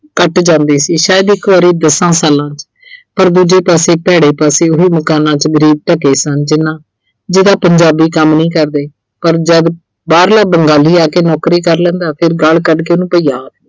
ਘੱਟ ਜਾਂਦੇ ਸੀ। ਸ਼ਾਇਦ ਇੱਕ ਵਾਰੀ ਦਸਾਂ ਸਾਲਾਂ ਚ। ਪਰ ਦੂਜੇ ਪਾਸੇ ਭੈੜੇ ਪਾਸੇ ਉਹੀ ਮਕਾਨਾਂ 'ਚ ਗਰੀਬ ਢੱਕੇ ਸਨ। ਜਿਨ੍ਹਾਂ ਅਹ ਜਿਦਾਂ ਪੰਜਾਬੀ ਕੰਮ ਨਹੀਂ ਕਰਦੇ, ਪਰ ਜਦ ਬਾਹਰਲਾ ਬੰਦਾ ਵੀ ਆ ਕੇ ਨੌਕਰੀ ਕਰ ਲੈਂਦਾ ਫਿਰ ਗਾਲ ਕੱਢ ਕੇ ਉਹਨੂੰ ਭਈਆ ਆਖਦੇ